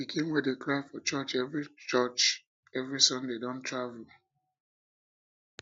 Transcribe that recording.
the pikin wey dey cry for church every church every sunday don travel